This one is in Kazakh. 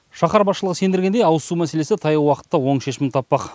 шаһар басшылығы сендіргендей ауызсу мәселесі таяу уақытта оң шешімін таппақ